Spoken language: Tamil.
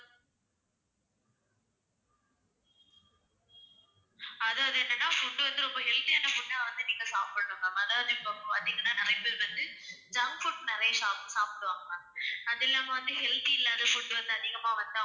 அதாவது என்னனா food வந்து ரொம்ப healthy யான food ஆ வந்து நீங்க சாப்பிடனும் ma'am. அதாவது இப்போ பாத்தீங்கன்னா நிறைய பேர் வந்து junk foods நிறைய சாப்பிடுவாங்க ma'am. அது இல்லாம வந்து healthy இல்லாத food வந்து அதிகமா வந்து